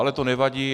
Ale to nevadí.